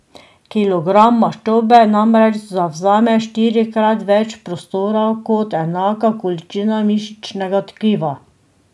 Kilogram maščobe namreč zavzame štirikrat več prostora kot enaka količina mišičnega tkiva.